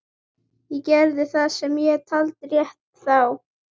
Ég gerði það sem ég taldi réttast. þá.